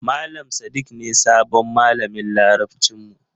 Malam Sadik ne sabon malamin Larabcin mu.